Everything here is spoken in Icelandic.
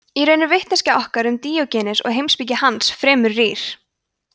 í raun er vitneskja okkar um díógenes og heimspeki hans fremur rýr